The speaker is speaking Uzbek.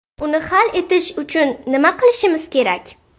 Uni hal etish uchun nima qilishimiz kerak?